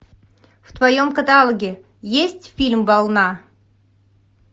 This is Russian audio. в твоем каталоге есть фильм волна